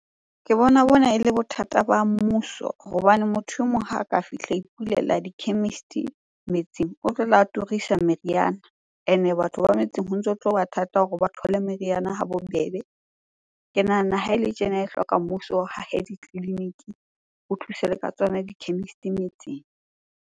Ke bona, bona e le bothata ba mmuso hobane motho e mong ha a ka fihla a ipulela di-chemist-ing metseng. O tlotla a turisa meriana, ene batho ba metseng ho ntso tloba thata hore ba thole meriana ha bobebe. Ke nahana ha ele tjena e hloka mmuso o hahe ditleliniki ho thusa le ka tsona di-chemist-e metsing.